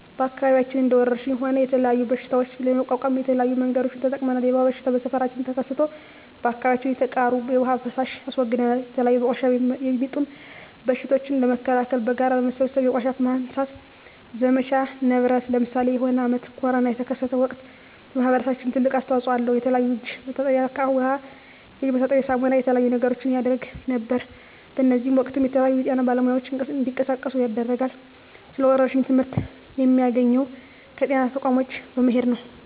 በአከባቢያችን እንደ ወረርሽኝ ሆነ የተለያዩ በሽታዎች ለመቋቋም የተለያዩ መንገዶችን ተጠቅመናል የወባ በሽታ በሠፈራችን ተከስቶ በአካባቢያችን የተቃሩ የዉሃ ፋሳሽ አስወግደናል የተለያዩ በቆሻሻ የሚጡም በሽቶችን ለመከላከል በጋራ በመሠብሰብ የቆሻሻ ማንሳት ዘመቻ ነበረነ ለምሳሌ የሆነ አመት ኮርና የተከሰተ ወቅት ማህበረሰባችን ትልቅ አስተዋጽኦ አለው የተለያዩ የእጅ መታጠብያ እቃ ዉሃ የእጅ መታጠቢያ ሳሙና የተለያዩ ነገሮችን ያረግ ነበር በእዚህም ወቅትም የተለያዩ የጤና ባለሙያዎች እንዲቀሳቀሱ ያደርጋል ስለ ወረርሽኝ ትመህርት የሚያገኘው ከጤና ተቋሞች በመሄድ ነው